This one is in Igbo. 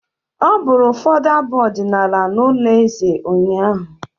Ọ bụrụ ụfọdụ abụ ọdịnala n'ụlọ eze ụnyaahụ.